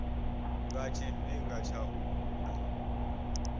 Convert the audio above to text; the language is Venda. nga tshifhinga tsha u vula